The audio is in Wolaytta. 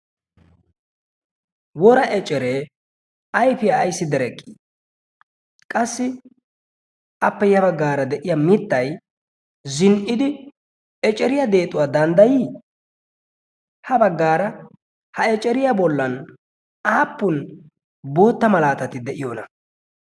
wora eceree ayfiyaa ayssi dereqqii qassi appe ya baggaara de'iya mittai zin"idi eceriyaa deexuwaa danddayii ha baggaara ha eceriyaa bollan aappun bootta malaatati de'iyoona?